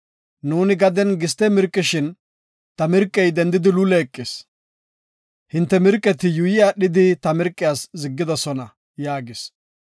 Nuuni gaden giste mirqishin ta mirqey dendidi luule eqis. Hinte mirqeti yuuyi aadhidi ta mirqiyas ziggidosona” yaagis.